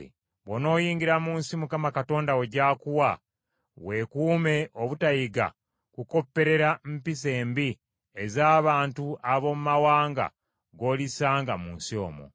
Bw’onooyingira mu nsi Mukama Katonda wo gy’akuwa, weekuume obutayiga kukopperera mpisa embi ez’abantu ab’omu mawanga g’olisanga mu nsi omwo.